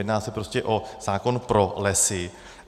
Jedná se prostě o zákon pro lesy.